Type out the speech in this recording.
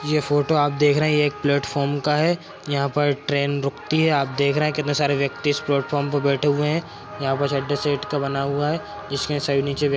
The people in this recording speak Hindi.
ये फोटो आप देख रहे हैं ये एक प्लेटफार्म का है यहाँ पर ट्रेन रूकती है आप देख रहे हैं कितने सारे व्यक्ति इस प्लेटफार्म पर बैठे हुए है यहाँ पर का बना हुआ है जिसमें सभी नीचे व्य --